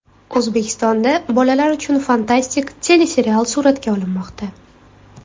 O‘zbekistonda bolalar uchun fantastik teleserial suratga olinmoqda.